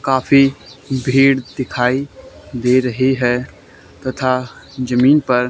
काफी भीड़ दिखाई दे रही है। तथा जमीन पर--